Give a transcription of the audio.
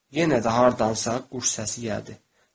Yenə də haradansa quş səsi gəldi.